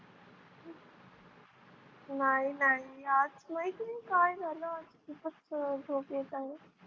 नाही नाही माहिती नाही काय झालं खूपच झोप येत आहे.